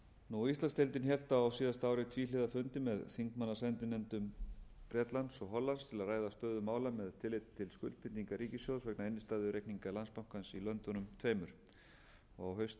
heiminum íslandsdeildin hélt á síðasta ári tvíhliða fundi með þingmannasendinefndum bretlands og hollands til að ræða stöðu mála með tilliti til skuldbindinga ríkissjóðs vegna innstæðureikninga landsbankans í löndunum tveimur á haustfundi öse þingsins